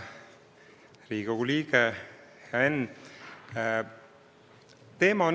Hea Riigikogu liige, hea Enn!